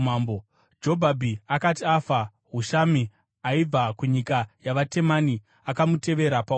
Jobhabhi akati afa, Hushami aibva kunyika yavaTemani akamutevera paumambo.